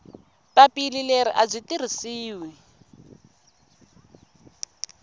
papila leri a byi tirhisiwi